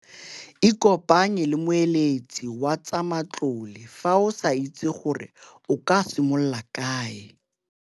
Ikopanye le moeletsi wa tsa matlole fa o sa itse gore o ka simolola kae.